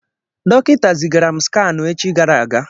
Dọkịta zigara m skanụ echi gara aga.